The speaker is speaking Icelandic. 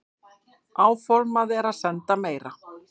Áformað er að senda meira.